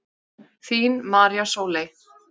Þín María Sóley.